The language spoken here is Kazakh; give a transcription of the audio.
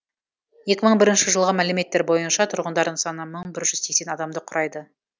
екі мың бірінші жылғы мәліметтер бойынша тұрғындарының саны мың бір жүз сексен адамды құрайды